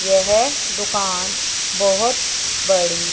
यह दुकान बहोत बड़ी--